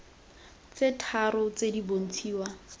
tse tharo tse di bontshiwa